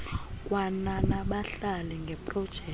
kwana nabahlali ngeeprojekthi